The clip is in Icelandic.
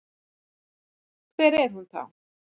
Hver er hún þá?